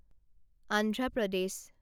Andhra Pradesh